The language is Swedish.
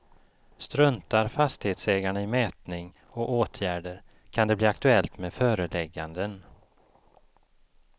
Struntar fastighetsägarna i mätning och åtgärder kan det bli aktuellt med förelägganden.